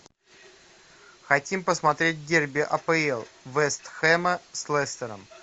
хотим посмотреть дерби апл вест хэма с лестером